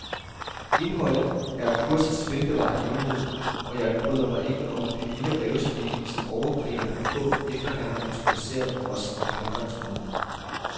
Indholdet er kursets velbevarede hemmelighed, og jeg bryder mig ikke om det lille rævesmil, som overkrigeren har på, efter han har introduceret os om fremgangsmåden.